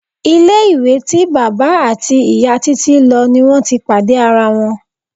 Ilé-ìwé tí bàbá àti ìyá Títí lo ni wọn ti pàdé ara wọn.